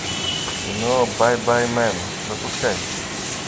кино байбаймэн запускай